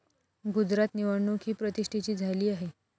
गुजरात निवडणूक ही प्रतिष्ठेची झाली आहे.